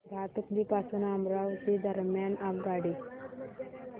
भातुकली पासून अमरावती दरम्यान आगगाडी